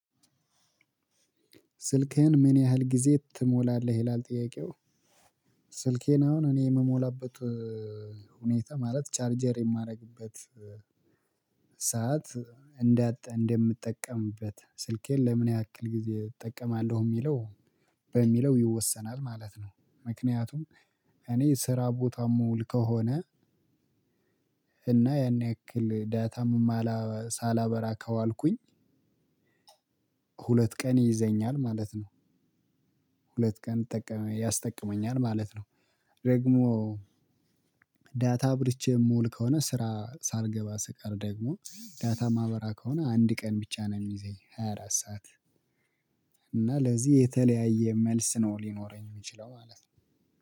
ስልክህን? ምን ያህል ጊዜ ትሞላለህ ይላል ጥያቄው ስልኬን አሁን እኔ ምሞላበት ሁኔታ ማለት ቻርጀር የማደርግበት ሰዓት እንደ እንደምትጠቀምበት ስልኬን ለምን ያክል ጊዜ እጠቀማለሁ ሚለው በሚለው ይወሰናል ማለት ነው። ምክንያቱም እኔ ስራ ቦታ ምውል ከሆነ እና ያን ያክል ዳታም ሳላበራ ከዋልኩኝ ሁለት ቀን ይዘኛል ማለት ነው። ሁለት ቀን ያስጠቅመኛል ማለት ነው። ደግሞ ዳታ አብርቼ ምውል ከሆነ ስራ ሳልገባ ስቀር ደግሞ ዳታ ማበራ ከሆነ አንድ ቀን ብቻ ነው ሚይዘኝ ሃያ አራት ሰዓት። እና ለዚህ የተለያየ መልስ ነው ሊኖረኝ ሚችለው ማለት ነው።